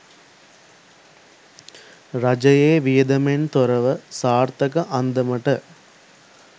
රජයේ වියදමෙන් තොරව සාර්ථක අන්දමට